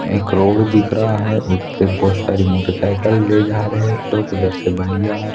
एक रोग दिख रहा है बहुत सारी मोटरसाइकिल ले जा रहे है लोग उधर से ]